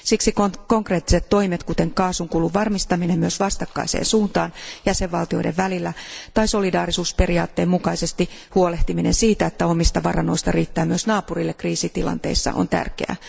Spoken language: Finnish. Siksi konkreettiset toimet, kuten kaasunkulun varmistaminen myös vastakkaiseen suuntaan jäsenvaltioiden välillä tai solidaarisuusperiaatteen mukaisesti huolehtiminen siitä, että omista varannoista riittää myös naapurille kriisitilanteissa, on tärkeää.